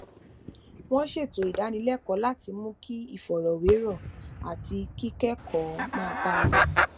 wón ṣètò ìdánilékòó láti mú kí ìfọrọwérọ àti kíkékòó máa bá a lọ